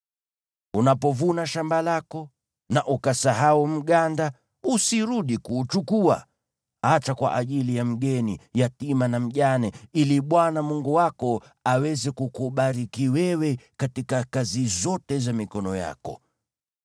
Unapovuna shamba lako na ukasahau mganda, usirudi kuuchukua. Acha kwa ajili ya mgeni, yatima na mjane, ili Bwana Mungu wako aweze kukubariki wewe katika kazi zote za mikono yako.